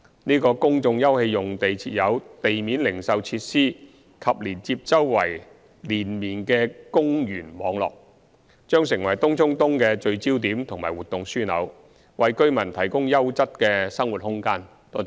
這個公眾休憩用地設有地面零售設施及連接周邊連綿的公園網絡，將成為東涌東的聚焦點及活動樞紐，為居民提供優質的生活空間。